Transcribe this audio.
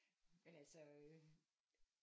Men altså øh